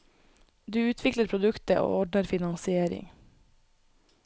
Du utvikler produktet, og ordner finansiering.